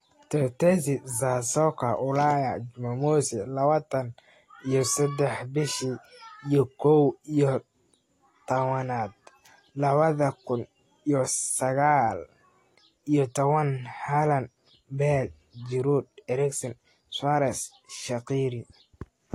Tetesi za Soka Ulaya Jumamosi lawatan iyo sadex bishi iyo kow iyo tawanad lawadha kun iyo saqal iyo tawan: Haaland, Bale, Giroud, Eriksen, Suarez, Shaqiri